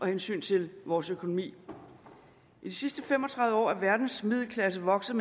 hensyn til vores økonomi i de sidste fem og tredive år er verdens middelklasser vokset